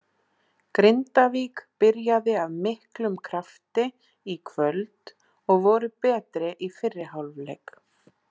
Grindavík byrjaði af miklum krafti í kvöld og voru betri í fyrri hálfleik.